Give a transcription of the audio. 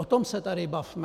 O tom se tady bavme!